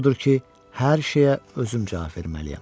Odur ki, hər şeyə özüm cavab verməliyəm.